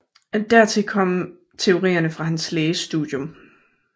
Dertil kom teorierne fra hans lægestudium